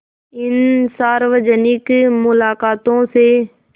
इन सार्वजनिक मुलाक़ातों से